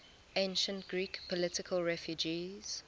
ancient greek political refugees